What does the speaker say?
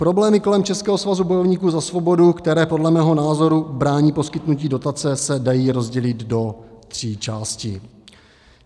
Problémy kolem Českého svazu bojovníků za svobodu, které podle mého názoru brání poskytnutí dotace, se dají rozdělit do tří částí.